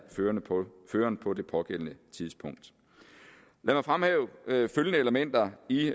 føreren på det pågældende tidspunkt lad mig fremhæve følgende elementer i